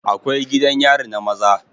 Akwai gidan yari na maza